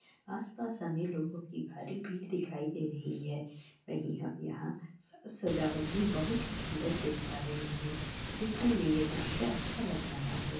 आस-पास अमीर लोगों की भारी भीड़ दिखाई दे रही है वही हम यहाँ सजावट भी बहुत ही सुन्दर देख पा रहें हैं देखने में ये दृश्य अच्छा लग रहा है।